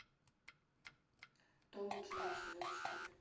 том и джерри сезон четыре